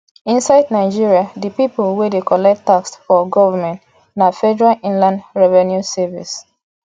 inside nigeria di pipo wey dey collect tax for government na federal inland revenue service